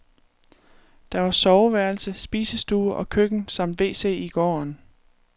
Der var soveværelse, spisestue og køkken samt wc i gården.